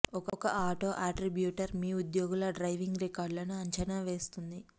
ఒక auto attributor మీ ఉద్యోగుల డ్రైవింగ్ రికార్డులను అంచనా వేస్తుంది